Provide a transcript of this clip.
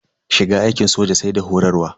Shiga aikin soja sai da horarwa.